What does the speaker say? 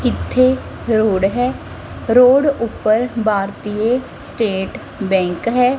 ਇੱਥੇ ਰੋਡ ਹੈ ਰੋਡ ਉਪਰ ਭਾਰਤੀਯ ਸਟੇਟ ਬੈਂਕ ਹੈ।